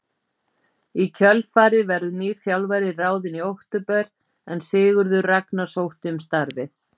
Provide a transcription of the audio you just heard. Í kjölfarið verður nýr þjálfari ráðinn í október en Sigurður Ragnar sótti um starfið.